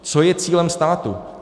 Co je cílem státu?